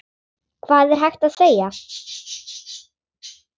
Hvað er hægt að segja.